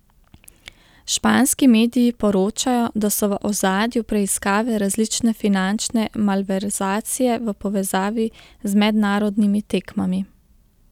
Španski mediji poročajo, da so v ozadju preiskave različne finančne malverzacije v povezavi z mednarodnimi tekmami.